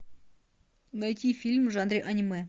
найти фильм в жанре аниме